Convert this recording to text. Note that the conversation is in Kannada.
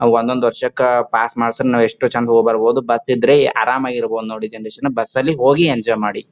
ಅವ್ ಒಂದೊಂದ್ ವರ್ಷಕ್ಕ ಪಾಸ್ ಮಾಡ್ಸಿದ್ರ್ ನಾವ್ ಯೆಸ್ಟ್ ಚೆಂದ ಹೋಗ್ ಬರಬಹುದು ಬಸ್ ಇದ್ರೆ ಆರಾಮ್ ಆಗಿ ಇರ್ಬಹುದು ಜನರೇಶನ್ ಬಸ್ ಅಲ್ಲಿ ಹೋಗಿ ಎಂಜಾಯ್ ಮಾಡಿ.